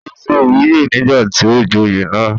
ó se ìwúyè nígbà tí ó joyè náà